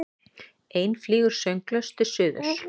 Ein flýgur sönglaus til suðurs.